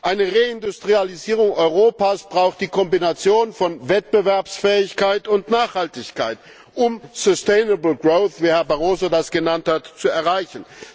Eine Reindustrialisierung Europas braucht die Kombination von Wettbewerbsfähigkeit und Nachhaltigkeit, um sustainable growth wie Herr Barroso das genannt hat, zu erreichen.